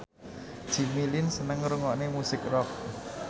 Jimmy Lin seneng ngrungokne musik rock